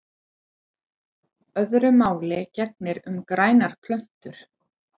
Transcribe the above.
Öðru máli gegnir um grænar plöntur.